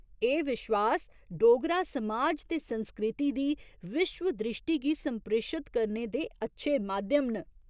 एह् विश्वास डोगरा समाज ते संस्कृति दी विश्व द्रिश्टी गी संप्रेशत करने दे अच्छे माध्यम न।